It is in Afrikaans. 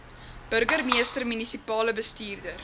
burgemeester munisipale bestuurder